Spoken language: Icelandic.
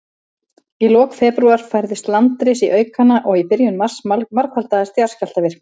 Í lok febrúar færðist landris í aukana, og í byrjun mars margfaldaðist jarðskjálftavirknin.